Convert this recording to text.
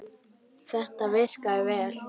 Þetta virkaði vel.